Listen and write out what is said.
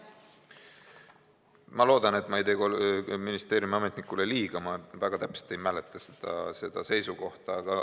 Ma loodan, et ma ei tee ministeeriumi ametnikule liiga, sest ma väga täpselt ei mäleta seda seisukohta.